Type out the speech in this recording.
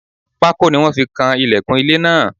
Pákó ni wọ́n fi kan ìlẹ̀kùn ilé náà.